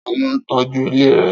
Ta ló n tọ́jú ilé rẹ?